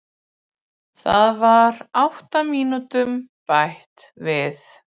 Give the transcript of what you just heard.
Það var átta mínútum bætt við